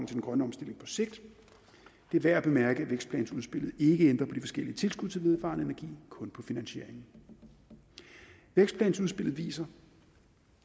den grønne omstilling på sigt det er værd at bemærke at vækstplansudspillet ikke ændrer på de forskellige tilskud til vedvarende energi kun på finansieringen vækstplansudspillet viser